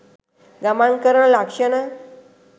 ගමන් කරන ලක්ක්‍ෂණ